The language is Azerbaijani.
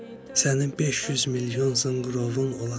Sənin 500 milyon zınqırovun olacaq.